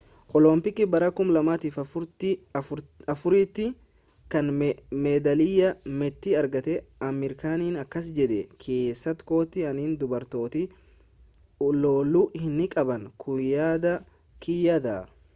oloompikii bara 2004 tti kan meedaaliyaa meetii argate amir khan akkas jedhe keessa kootti ani dubartootni loluu hin qaban kun yaada kiyya dha